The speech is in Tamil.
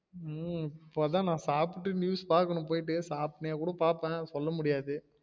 உம் இப்பதான் நான் சாப்டு news பாக்கணும்போய்ட்டு சாப்ட்டே கூட பாப்பேன் சொல்ல முடியாது